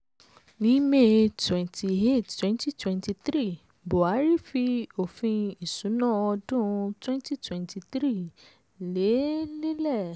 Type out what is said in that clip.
ní may twenty eight twenty twenty three buhari fi òfin isuna ọdún twenty twenty three lé e lélẹ̀.